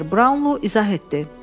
Mister Brownlo izah etdi: